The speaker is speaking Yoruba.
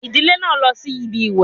Ìdílé náà lọ síbi ìwẹ̀